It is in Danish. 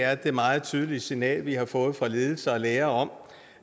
er det meget tydeligt signal vi har fået fra ledelser og lærere om